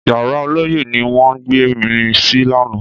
Yàrá ọlọ́yẹ́ ni wọ́n gbé mi sí lánàá